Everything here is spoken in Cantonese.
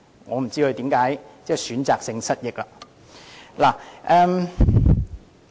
我不知道他為何會選擇性失憶。